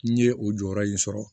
N ye o jɔyɔrɔ in sɔrɔ